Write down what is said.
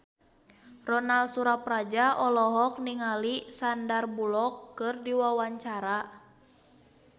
Ronal Surapradja olohok ningali Sandar Bullock keur diwawancara